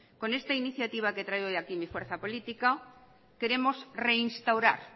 con esta iniciativa que trae hoy aquí mi fuerza política queremos reinstaurar